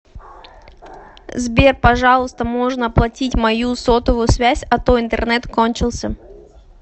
сбер пожалуйста можно оплатить мою сотовую связь а то интернет кончился